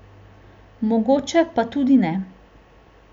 Mogoče pa tudi ne.